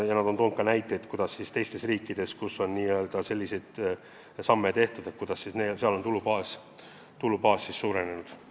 Ja nad on toonud ka näiteid, kuidas teistes riikides, kus on selliseid samme astutud, on tulubaas suurenenud.